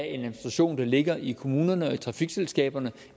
administration der ligger i kommunerne og i trafikselskaberne